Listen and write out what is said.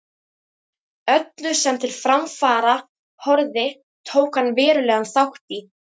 Öllu, sem til framfara horfði, tók hann verulegan þátt í.